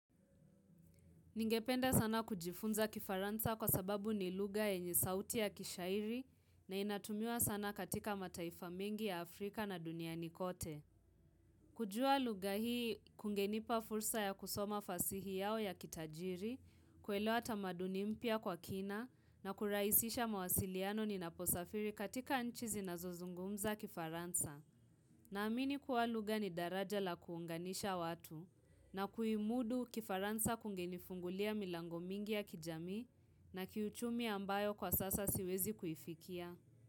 Ningependa sana kujifunza kifaransa kwa sababu ni lugha enye sauti ya kishairi na inatumiwa sana katika mataifa mingi ya Afrika na duniani kote. Kujua lugha hii kungenipa fursa ya kusoma fasihi yao ya kitajiri, kuelewa tamaduni mpya kwa kina na kurahisisha mawasiliano ni naposafiri katika nchi zinazozungumza kifaransa. Naamini kuwa lugha ni daraja la kuunganisha watu na kuimudu kifaransa kungenifungulia milango mingi ya kijami na kiuchumi ambayo kwa sasa siwezi kuifikia.